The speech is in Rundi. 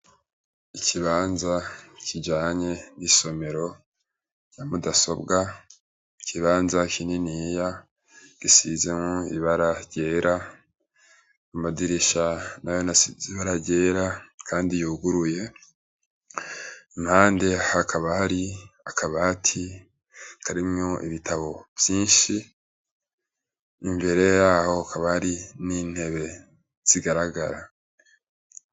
Ikibanza kijanye n'isomero ya madasobwa, ikibanza kininiya gisize ibara ryera, amadirisha nayo asize ibara ryera Kandi yuguruye. Impande hakaba har'akabati karimwo ibitabo vyinshi, imbere yaho hakaba hari n'intebe zigaragara.